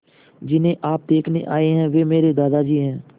जिन्हें आप देखने आए हैं वे मेरे दादाजी हैं